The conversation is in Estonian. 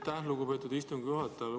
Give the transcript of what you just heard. Aitäh, lugupeetud istungi juhataja!